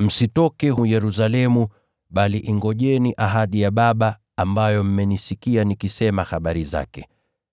“Msitoke Yerusalemu, bali ingojeni ahadi ya Baba, ambayo mmenisikia nikisema habari zake.